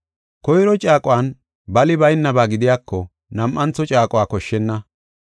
Koyro caaquwan bali baynaba gidiyako nam7antho caaqo koshshenna.